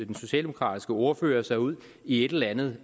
den socialdemokratiske ordfører sig ud i et eller andet